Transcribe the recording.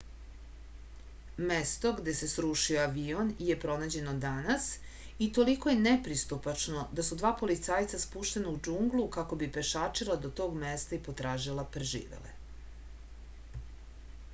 mesto gde se srušio avion je pronađeno danas i toliko je nepristupačno da su dva policajca spuštena u džunglu kako bi pešačila do tog mesta i potražila preživele